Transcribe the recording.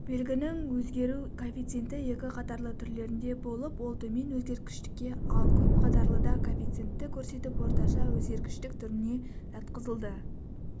белгінің өзгеру коэффициенті екі қатарлы түрлерінде болып ол төмен өзгергіштікке ал көп қатарлыда коэффицентті көрсетіп орташа өзгергіштік түріне жатқызылды